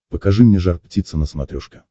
покажи мне жар птица на смотрешке